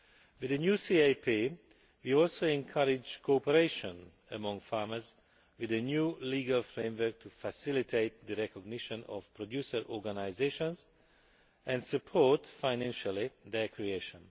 With the new CAP, we are also encouraging cooperation among farmers with a new legal framework to facilitate the recognition of producer organisations and support financially their creation.